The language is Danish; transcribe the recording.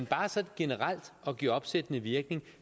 bare sådan generelt at give opsættende virkning